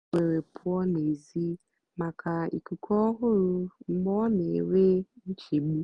ó kwèrè pụ́ọ́ n'èzí màkà íkúkú ọ́hụ̀rụ̀ mgbe ọ́ nà-énwé nchégbù.